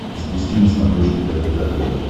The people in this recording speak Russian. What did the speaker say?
запусти на смотрешке рбк тв